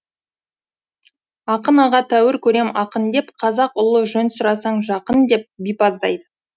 ақын аға тәуір көрем ақын деп қазақ ұлы жөн сұрасаң жақын деп деп бипаздайды